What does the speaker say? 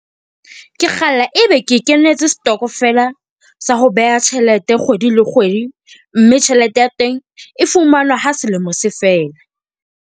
Ke kgalla e be ke kenetse setokofela sa ho beha tjhelete kgwedi le kgwedi, mme tjhelete ya teng e fumanwa ha selemo se fela.